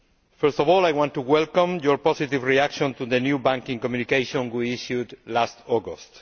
First of all I want to welcome your positive reaction to the new banking communication we issued last August.